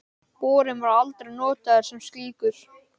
Borinn var aldrei notaður sem slíkur.